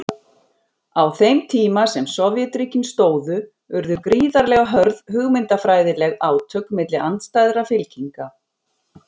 Á þeim tíma sem Sovétríkin stóðu urðu gríðarlega hörð hugmyndafræðileg átök milli andstæðra fylkinga.